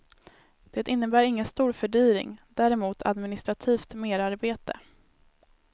Det innebär ingen stor fördyring, däremot administrativt merarbete.